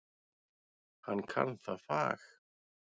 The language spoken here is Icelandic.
Hann kann það fag.